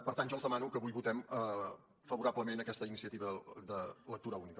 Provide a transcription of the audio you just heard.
per tant jo els demano que avui votem favorablement aquesta iniciativa de lectura única